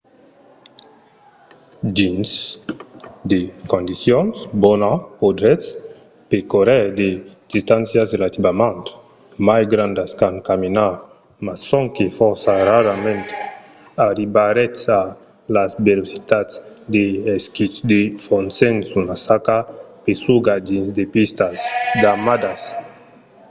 dins de condicions bonas podretz percórrer de distàncias relativament mai grandas qu’en caminar – mas sonque fòrça rarament arribaretz a las velocitats de l'esquí de fons sens una saca pesuga dins de pistas damadas